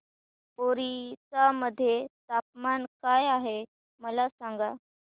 ओरिसा मध्ये तापमान काय आहे मला सांगा